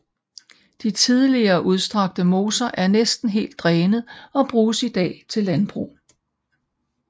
De tidligere udstrakte moser er næsten helt drænet og bruges i dag til landbrug